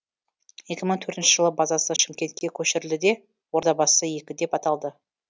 екі мың төртінші жылы базасы шымкентке көшірілді де ордабасы екі деп аталды